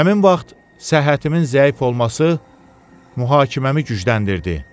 Həmin vaxt səhhətimin zəif olması mühakiməmi gücləndirdi.